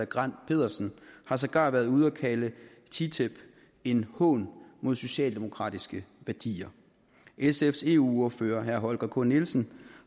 grandt petersen har sågar været ude at kalde ttip en hån mod socialdemokratiske værdier sfs eu ordfører herre holger k nielsen